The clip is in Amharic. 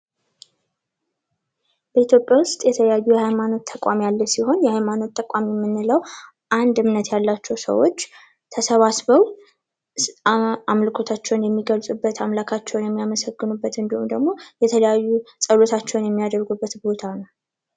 በኢትዮጵያ ውስጥ የተለያዩ የሀይማኖት ተቋም ያለ ሲሆን የሃይማኖት ተቋም የምንለው አንድ እምነት ያላቸው ሰዎች ተሰባስበው አምልኮታቸውን የሚገልጹበት፥ አምላካቸውን የሚያመልኩበት ፥ የሚያመሰግኑበት እንዲሁም ደግሞ የተለያዩ ፀሎቶቻቸውን የሚያደርጉበት ቦታ ነው።